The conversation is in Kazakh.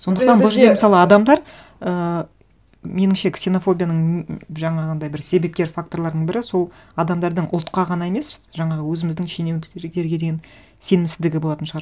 сондықтан бұл жерде мысалы адамдар ііі меніңше ксенофобияның жаңағындай бір себепкер факторларының бірі сол адамдардың ұлтқа ғана емес жаңағы өзіміздің деген сенімсіздігі болатын шығар